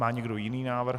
Má někdo jiný návrh?